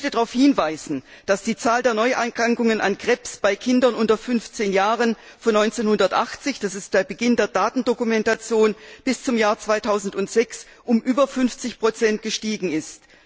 Ich möchte darauf hinweisen, dass die Zahl der Neuerkrankungen an Krebs bei Kindern unter 15 Jahren von 1980 das ist der Beginn der Datendokumentation bis zum Jahr 2006, um über 50 gestiegen ist.